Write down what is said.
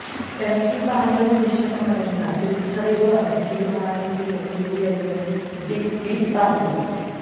Pepsi പാനിയം വിഷമാണെന്ന തിരിച്ചറിവാണ് തീരുമാനത്തിന് പിന്നിലെന്നും ബിഗ് ബി പറഞ്ഞു